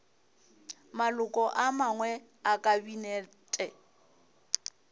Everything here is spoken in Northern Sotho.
maloko a mangwe a kabinete